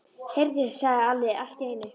Heyrðu, sagði Alli allt í einu.